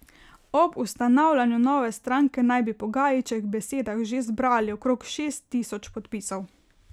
Ob ustanavljanju nove stranke naj bi po Gajićevih besedah že zbrali okrog šest tisoč podpisov.